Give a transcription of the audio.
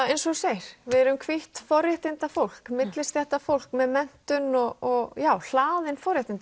eins og þú segir við erum hvítt forréttindafólk millistéttarfólk með menntun og já hlaðin forréttindum